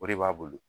O de b'a bolo